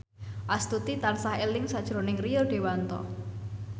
Astuti tansah eling sakjroning Rio Dewanto